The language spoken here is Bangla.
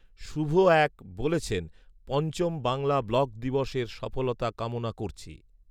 শুভ এক বলেছেন, পঞ্চম বাংলা ব্লগ দিবস এর সফলতা কামনা করছি